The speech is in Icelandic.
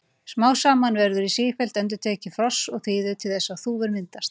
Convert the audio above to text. Smám saman verður sífelld endurtekning frosts og þíðu til þess að þúfur myndast.